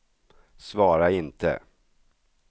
svara inte